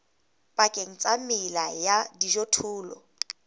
pakeng tsa mela ya dijothollo